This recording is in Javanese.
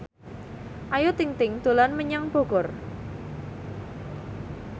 Ayu Ting ting dolan menyang Bogor